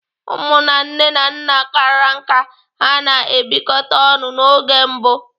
Ụmụ na nne na nna kara nká ha na-ebịkọta ọnụ n'oge mbụ.